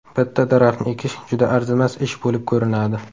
Bitta daraxtni ekish juda arzimas ish bo‘lib ko‘rinadi.